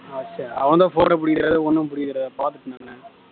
அவன் தான் phone அ புடிக்கலயே ஒன்னும் புடிக்கலயே